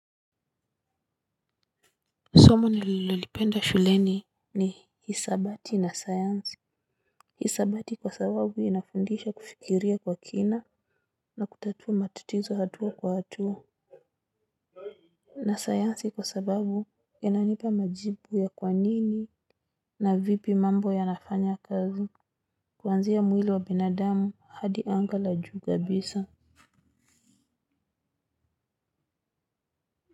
Somo nililolipenda shuleni ni hisabati na sayansi. Hisabati kwa sababu inafundisha kufikiria kwa kina. Na kutatua matatizo hatua kwa hatua. Na sayansi kwa sababu inanipa majibu ya kwa nini na vipi mambo yanafanya kazi. Kuanzia mwili wa binadamu hadi anga la juu kabisa.